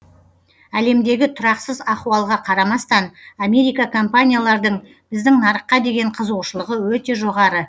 әлемдегі тұрақсыз ахуалға қарамастан америка компаниялардың біздің нарыққа деген қызығушылығы өте жоғары